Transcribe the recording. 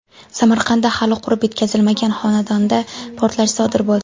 Samarqandda hali qurib bitkazilmagan xonadonda portlash sodir bo‘ldi.